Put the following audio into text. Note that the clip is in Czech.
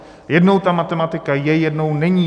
Jednou ta matematika je, jednou není.